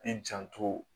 I janto